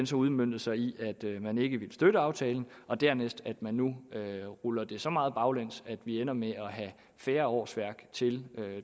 så udmøntede sig i at man ikke ville støtte aftalen og dernæst at man nu ruller det så meget baglæns at vi ender med at have færre årsværk til